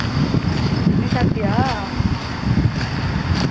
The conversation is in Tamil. ஹம் நீ சாப்பிடியா?